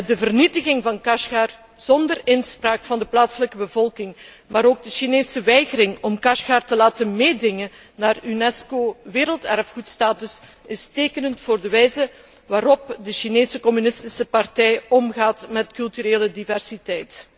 De vernietiging van Kashgar zonder inspraak van de plaatselijke bevolking, maar ook de Chinese weigering om Kashgar te laten meedingen naar de status van werelderfgoed van de Unesco is tekenend voor de wijze waarop de Chinese communistische partij omgaat met culturele diversiteit.